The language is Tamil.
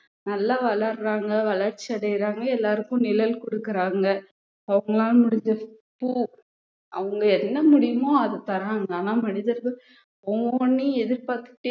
நல்லா வளர்றாங்க வளர்ச்சி அடையறாங்க எல்லாருக்கும் நிழல் கொடுக்கறாங்க அவங்களால முடிஞ்சது பு~ அவங்க என்ன முடியுமோ அதை தர்றாங்க ஆனா மனிதர்கள் ஒவ்வொண்ணையும் எதிர்பார்த்துட்டே